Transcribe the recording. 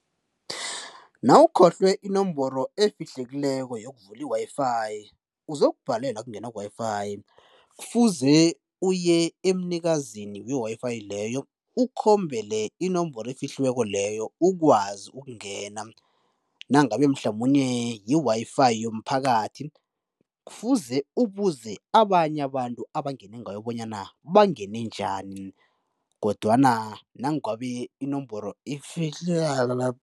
Nawukhohlwe inomboro efiihlekileko yokuvula i-WiFi uzokubhalelwa kungena ku-WiFi, kufuze uye emnikazini we-WiFi leyo ukhombele inomboro efihliweko leyo ukwazi ukungena nangabe mhlamunye yi-WiFi yomphakathi kufuze ubuze abanye abantu abangene ngayo bonyana bangene njani kodwana nangabe inomboro ifi .